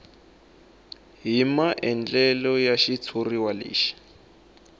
hi maandlalelo ya xitshuriwa lexi